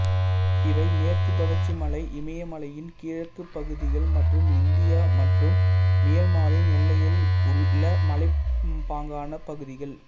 இவை மேற்குத் தொடர்ச்சி மலை இமயமலையின் கிழக்குப் பகுதிகள் மற்றும் இந்தியா மற்றும் மியான்மரின் எல்லையில் உள்ள மலைப்பாங்கான பகுதிகள்